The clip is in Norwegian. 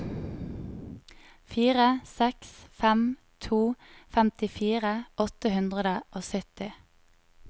fire seks fem to femtifire åtte hundre og sytti